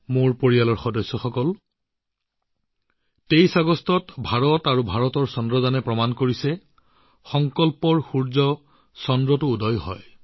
মোৰ পৰিয়ালৰ সদস্যসকল ২৩ আগষ্টত ভাৰত আৰু ভাৰতৰ চন্দ্ৰযানে প্ৰমাণ কৰিছে যে সংকল্পৰ কিছু সূৰ্যোদয় চন্দ্ৰতো হয়